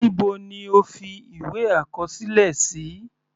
Níbo ni o fi ìwé àkọsílẹ sí?